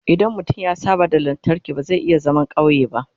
idan mutum ya saba da lantarki ba zai iya zaman ƙauye ba